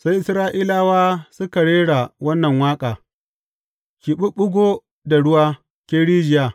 Sai Isra’ilawa suka rera wannan waƙa, Ki ɓuɓɓugo da ruwa, Ke rijiya!